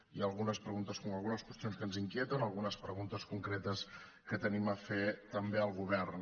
hi ha algunes preguntes com algunes qüestions que ens inquieten algunes preguntes concretes que tenim a fer també al govern